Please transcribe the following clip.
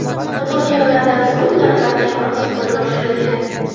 Muhokamalardan so‘ng narxlar kamroq summaga oshirilgan.